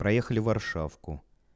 проехали варшавку